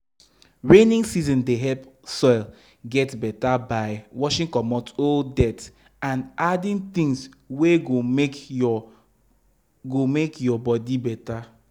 rainy season dey help soil get beta by washing comot old dirt and adding things wey go make ur go make ur body better